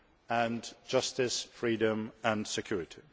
and justice, freedom and security.